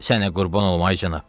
Sənə qurban olum, ay cənab.